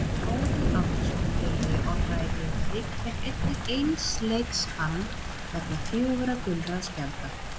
Óðinn Árnason félagi Orra í Grindavík fékk einnig eins leiks bann vegna fjögurra gulra spjalda.